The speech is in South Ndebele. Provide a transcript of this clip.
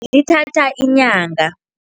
Ithatha inyanga.